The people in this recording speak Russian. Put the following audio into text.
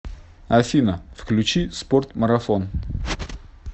афина включи спорт марафон